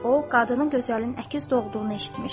O qadını gözəlin əkiz doğduğunu eşitmişdi.